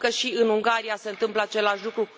Auzim că și în Ungaria se întâmplă același lucru.